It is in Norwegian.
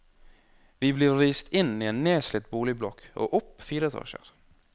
Vi blir vist inn i en nedslitt boligblokk og opp fire etasjer.